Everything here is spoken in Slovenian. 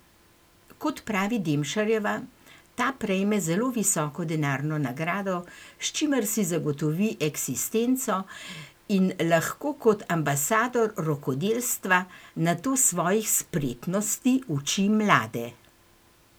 Kot pravi Demšarjeva, ta prejme zelo visoko denarno nagrado, s čimer si zagotovi eksistenco in lahko kot ambasador rokodelstva nato svojih spretnosti uči mlade.